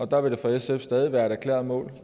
der vil det for sf stadig være et erklæret mål